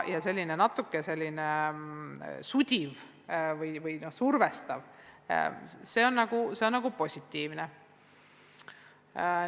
Selline natuke sudiv või survestav olukord on olnud pigem positiivne.